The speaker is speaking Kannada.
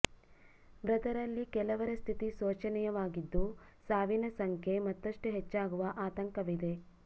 ಮೃತರಲ್ಲಿ ಕೆಲವರ ಸ್ಥಿತಿ ಶೋಚನೀಯವಾಗಿದ್ದು ಸಾವಿನ ಸಂಖ್ಯೆ ಮತ್ತಷ್ಟು ಹೆಚ್ಚಾಗುವ ಆತಂಕವಿದೆ